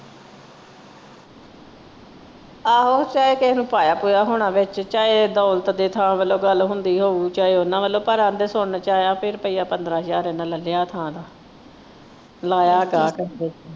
ਆਹੋ ਸ਼ਾਇਦ ਕਿਹੇ ਨੇ ਪਾਇਆ ਹੋਣਾ ਵਿੱਚ ਚਾਹੇ ਦੌਲਤ ਦੀ ਥਾਂ ਵਲੋਂ ਗੱਲ ਹੁੰਦੀ ਹੋਊ ਚਾਹੇ ਉਹਨਾਂ ਵੱਲੋਂ ਕਹਿੰਦੇ ਸੁਣਨ ਚ ਆਇਆ ਰੁਪਈਆ ਪੰਦਰਾਂ ਹਜ਼ਾਰ ਇਹਨਾਂ ਲੈ ਲਿਆ ਥਾਂ ਦਾ ਲਾਇਆ